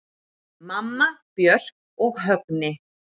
Mamma, Björk og Högni.